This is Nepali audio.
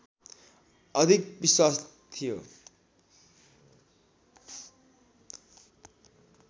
अधिक विश्वास थियो